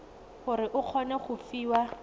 gore o kgone go fiwa